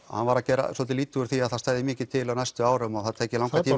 hann var að gera svolítið lítið úr því að það stæði mikið til á næstu árum og það tæki langan tíma